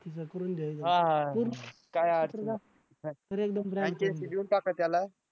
franchise देऊन टाका त्याला